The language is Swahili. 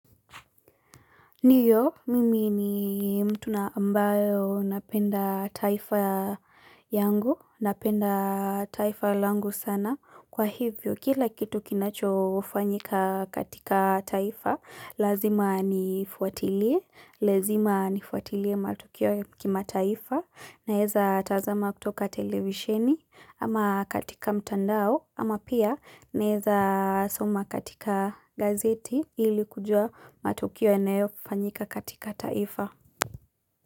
Ndiyo, mimi ni mtu na ambayo napenda taifa yangu, napenda taifa langu sana. Kwa hivyo, kila kitu kinacho fanyika katika taifa, lazima nifuatilie, lazima nifuatilie matukio ya kimataifa. Naweza tazama kutoka televisheni ama katika mtandao ama pia naeza soma katika gazeti ili kujua matukio yanayofanyika katika taifa.